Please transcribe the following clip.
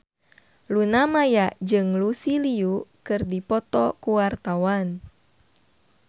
Luna Maya jeung Lucy Liu keur dipoto ku wartawan